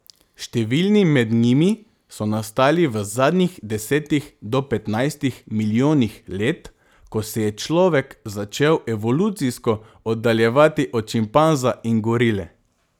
Številni med njimi so nastali v zadnjih desetih do petnajstih milijonih let, ko se je človek začel evolucijsko oddaljevati od šimpanza in gorile.